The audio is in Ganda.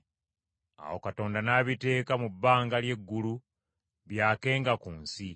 Awo Katonda n’abiteeka mu bbanga ly’eggulu byakenga ku nsi,